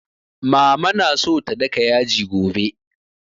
Mama na so ta daka yaji gobe